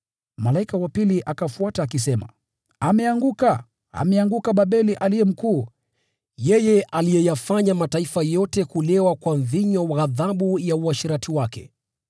Malaika wa pili akafuata akisema, “Umeanguka! Umeanguka Babeli Mkuu, ule uliyafanya mataifa yote kulewa kwa mvinyo wa ghadhabu ya uasherati wake.”